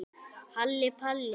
Halli Palli.